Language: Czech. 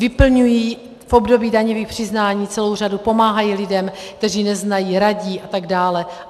Vyplňují v období daňových přiznání celou řadu, pomáhají lidem, kteří neznají, radí atd.